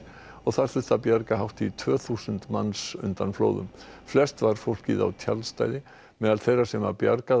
og þurfti að bjarga hátt í tvö þúsund manns undan flóðum flest var fólkið á tjaldstæði meðal þeirra sem var bjargað